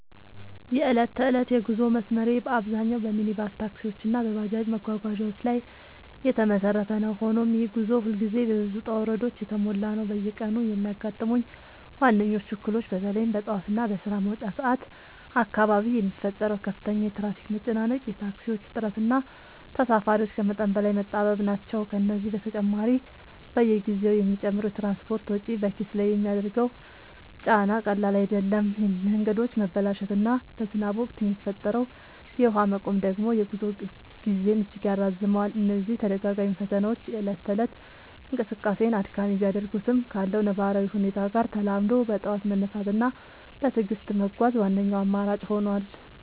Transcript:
የዕለት ተዕለት የጉዞ መስመሬ በአብዛኛው በሚኒባስ ታክሲዎች እና በባጃጅ መጓጓዣዎች ላይ የተመሰረተ ነው፤ ሆኖም ይህ ጉዞ ሁልጊዜ በብዙ ውጣ ውረዶች የተሞላ ነው። በየቀኑ የሚያጋጥሙኝ ዋነኞቹ እክሎች በተለይም በጠዋት እና በስራ መውጫ ሰዓት አካባቢ የሚፈጠረው ከፍተኛ የትራፊክ መጨናነቅ፣ የታክሲዎች እጥረት እና ተሳፋሪዎች ከመጠን በላይ መጣበብ ናቸው። ከዚህ በተጨማሪ፣ በየጊዜው የሚጨምረው የትራንስፖርት ወጪ በኪስ ላይ የሚያደርሰው ጫና ቀላል አይደለም፤ የመንገዶች መበላሸት እና በዝናብ ወቅት የሚፈጠረው የውሃ መቆም ደግሞ የጉዞ ጊዜን እጅግ ያራዝመዋል። እነዚህ ተደጋጋሚ ፈተናዎች የእለት ተእለት እንቅስቃሴን አድካሚ ቢያደርጉትም፣ ካለው ነባራዊ ሁኔታ ጋር ተላምዶ በጠዋት መነሳት እና በትዕግስት መጓዝ ዋነኛው አማራጭ ሆኗል።